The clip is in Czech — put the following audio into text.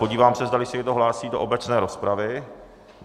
Podívám se, zdali se někdo hlásí do obecné rozpravy.